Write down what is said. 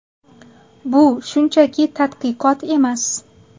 Bu shunchaki tadqiqot emas.